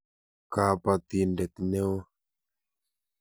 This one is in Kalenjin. Kabatindet neo.